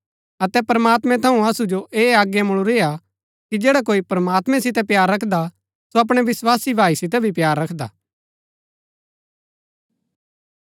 अतै प्रमात्मैं थऊँ असु जो ऐह आज्ञा मुळुरी हा कि जैडा कोई प्रमात्मैं सितै प्‍यार रखदा सो अपणै विस्वासी भाई सितै भी प्‍यार रखदा